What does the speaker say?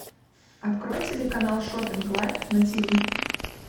открой телеканал шоппинг лайф на тв